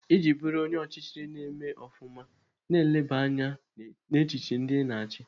Iji bụrụ onye ọchịchị na-eme ofụma, na-eleba anya n'echiche ndị Ị na-achị.